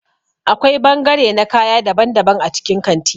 Akwai bangare na kaya daban-daban a cikin kanti.